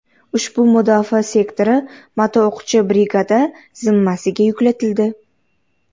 Ushbu mudofaa sektori motoo‘qchi brigada zimmasiga yuklatildi.